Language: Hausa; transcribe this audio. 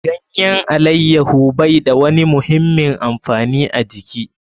Ganyen alaiyaho bai da wani muhimmin amfani a jiki.